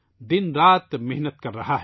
دن رات محنت کر رہا ہے